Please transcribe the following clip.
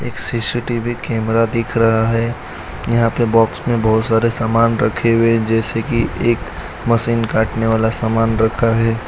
एक CCTV camera दिख रहा है यहां पे बॉक्स में बहोत सारे सामान रखे हुए जैसे कि एक मशीन काटने वाला सामान रखा है।